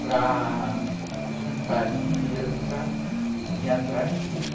para juntar dinheiro para vir atrás dele.